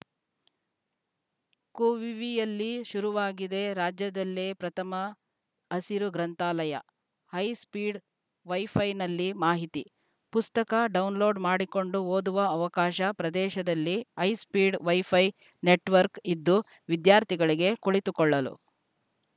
ಕುವಿವಿಯಲ್ಲಿ ಶುರುವಾಗಿದೆ ರಾಜ್ಯದಲ್ಲೇ ಪ್ರಥಮ ಹಸಿರು ಗ್ರಂಥಾಲಯ ಹೈಸ್ಪೀಡ್‌ ವೈಫೈನಲ್ಲಿ ಮಾಹಿತಿ ಪುಸ್ತಕ ಡೌನ್‌ಲೋಡ್‌ ಮಾಡಿಕೊಂಡು ಓದುವ ಅವಕಾಶ ಪ್ರದೇಶದಲ್ಲಿ ಹೈಸ್ಪೀಡ್‌ ವೈಫೈ ನೆಟ್‌ವರ್ಕ್ ಇದ್ದು ವಿದ್ಯಾರ್ಥಿಗಳಿಗೆ ಕುಳಿತುಕೊಳ್ಳಲು